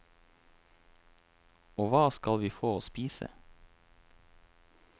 Og hva skal vi få å spise?